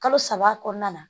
Kalo saba kɔnɔna na